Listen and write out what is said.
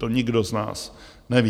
To nikdo z nás neví.